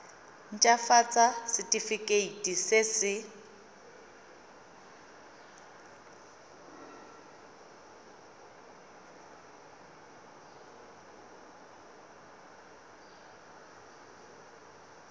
nt hafatsa setefikeiti se se